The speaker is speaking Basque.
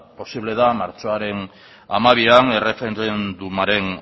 posible da martxoaren hamabian erreferendumaren